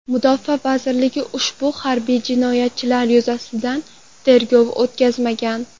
Mudofaa vazirligi ushbu harbiy jinoyatlar yuzasidan tergov o‘tkazmagan.